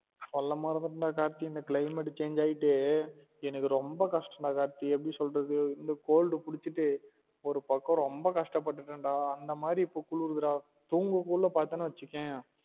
சொல்ல மறந்துட்டன் டா கார்த்தி இந்த climate change ஆயிட்டு எனக்கு ரொம்ப கஷ்டம் டா கார்த்தி எப்டி சொல்றது இந்த cold புடிச்சிட்டு ஒரு பக்கம் ரொம்ப கஷ்டபட்டுட்டன் டா அந்த மாறி இப்ப குளுருது டா தூங்க குள்ள பாத்தனா வச்சிக்கொயன்